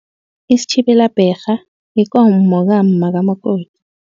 Isitjhibelabherha yikomo kamma kamakoti.